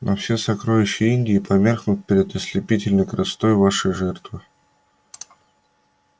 но все сокровища индии померкнут перед ослепительной красотой вашей жертвы